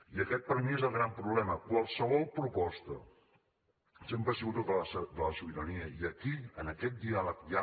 i aquest per mi és el gran problema qualsevol proposta sempre ha sigut de la sobirania i aquí en aquest diàleg hi ha